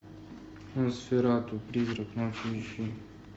носферату призрак ночи ищи